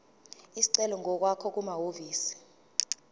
isicelo ngokwakho kumahhovisi